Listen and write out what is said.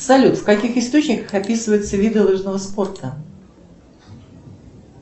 салют в каких источниках описываются виды лыжного спорта